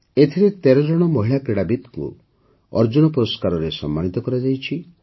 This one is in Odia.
ଏଥର ୧୩ ଜଣ ମହିଳା କ୍ରୀଡ଼ାବିତଙ୍କୁ ଅର୍ଜୁନ ପୁରସ୍କାରରେ ସମ୍ମାନିତ କରାଯାଇଛି